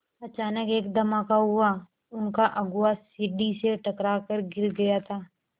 अचानक एक धमाका हुआ उनका अगुआ सीढ़ी से टकरा कर गिर गया था